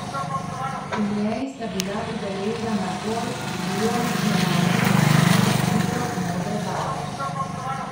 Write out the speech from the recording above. V njej sta bila udeležena golf vijolične barve in stilo modre barve.